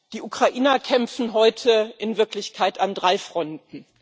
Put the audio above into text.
Die Ukrainer kämpfen heute in Wirklichkeit an drei Fronten.